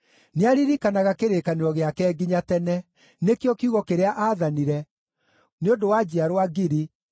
Nĩaririkanaga kĩrĩkanĩro gĩake nginya tene, nĩkĩo kiugo kĩrĩa aathanire, nĩ ũndũ wa njiarwa ngiri,